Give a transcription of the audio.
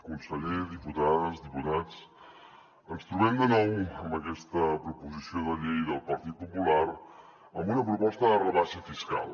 conseller diputades diputats ens trobem de nou amb aquesta proposició de llei del partit popular amb una proposta de rebaixa fiscal